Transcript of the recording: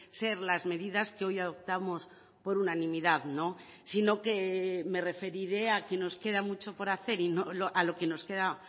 ser las medidas que hoy adoptamos por unanimidad sino que me referiré a que nos queda mucho por hacer y a lo que nos queda